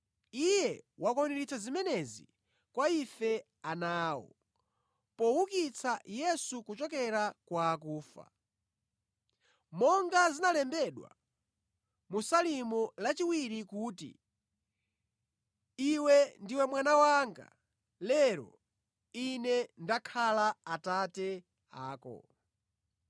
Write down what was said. Iye wakwaniritsa zimenezi kwa ife ana awo, poukitsa Yesu kuchokera kwa akufa. Monga zinalembedwa mu Salimo lachiwiri kuti, “Iwe ndiwe mwana wanga; lero ine ndakhala Atate ako.”